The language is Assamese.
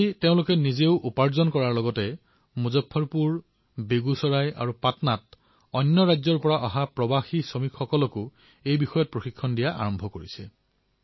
আজি তেওঁলোকে সুন্দৰ উপাৰ্জন কৰাৰ লগতে মুজফৰপুৰ বেগুচৰাই আৰু পাটনাত অন্য ৰাজ্যৰ পৰা উভটি অহা প্ৰব্ৰজক শ্ৰমিকসকলকো ইয়াৰ প্ৰশিক্ষণ দিয়া আৰম্ভ কৰিছে